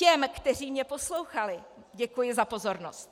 Těm, kteří mě poslouchali, děkuji za pozornost.